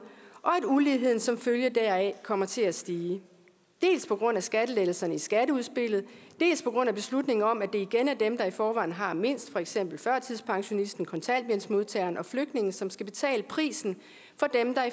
og at uligheden som følge deraf af kommer til at stige dels på grund af skattelettelserne i skatteudspillet dels på grund af beslutningen om at det igen er dem der i forvejen har mindst for eksempel førtidspensionisten kontanthjælpsmodtageren og flygtningen som skal betale prisen